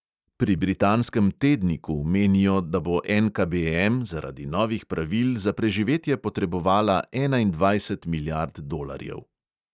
Pri britanskem tedniku menijo, da bo NKBM zaradi novih pravil za preživetje potrebovala enaindvajset milijard dolarjev.